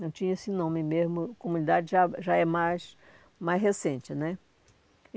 Não tinha esse nome mesmo, comunidade já já é mais mais recente né.